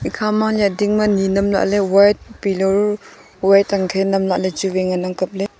ekhama liya ding ma ni nam lah ley white pillow bu white an khe nam lah ley chu wai ngan ang kap ley.